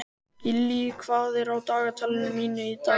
Gillý, hvað er á dagatalinu mínu í dag?